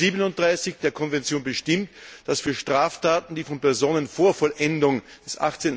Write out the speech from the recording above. Artikel 37 der Konvention bestimmt, dass für Straftaten, die von Personen vor Vollendung des